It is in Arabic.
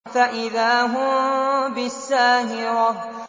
فَإِذَا هُم بِالسَّاهِرَةِ